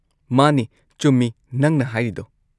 ꯃꯥꯅꯤ, ꯆꯨꯝꯃꯤ ꯅꯪꯅ ꯍꯥꯏꯔꯤꯗꯣ꯫